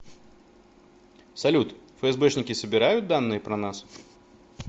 салют фсбшники собирают данные про нас